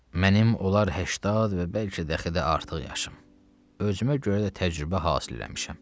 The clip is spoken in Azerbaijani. Mənim olar 80 və bəlkə dəxi də artıq yaşım, özümə görə də təcrübə hasil eləmişəm.